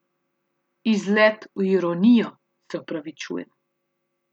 Izlet v ironijo, se opravičujem.